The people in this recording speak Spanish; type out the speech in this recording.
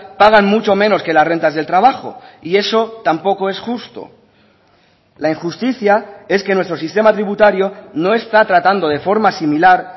pagan mucho menos que las rentas del trabajo y eso tampoco es justo la injusticia es que nuestro sistema tributario no está tratando de forma similar